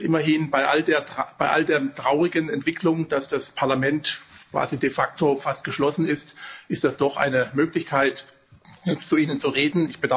Immerhin, bei all der traurigen Entwicklung, dass das Parlament quasi de facto fast geschlossen ist, ist das doch eine Möglichkeit, jetzt zu Ihnen zu reden.